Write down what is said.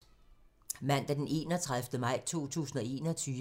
Mandag d. 31. maj 2021